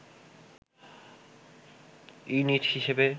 unit হিসেবে